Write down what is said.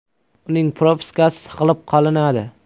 Uning propiskasi saqlab qolinadi.